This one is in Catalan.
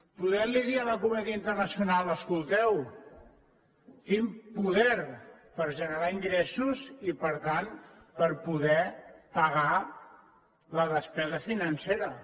podent li dir a la comunitat internacional escolteu tinc poder per generar ingressos i per tant per poder pagar la despesa financera